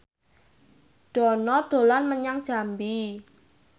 Dono dolan menyang Jambi